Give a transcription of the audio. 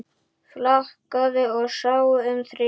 Flakaði og sá um þrif.